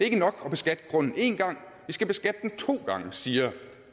ikke nok at beskatte grunden én gang vi skal beskatte den to gange siger